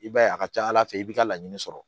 I b'a ye a ka ca ala fɛ i b'i ka laɲini sɔrɔ